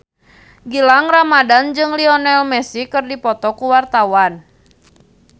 Gilang Ramadan jeung Lionel Messi keur dipoto ku wartawan